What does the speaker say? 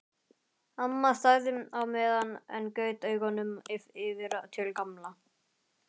Amma þagði á meðan en gaut augunum yfir til Gamla.